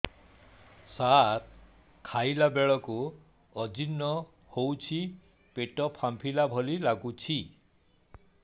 ସାର ଖାଇଲା ବେଳକୁ ଅଜିର୍ଣ ହେଉଛି ପେଟ ଫାମ୍ପିଲା ଭଳି ଲଗୁଛି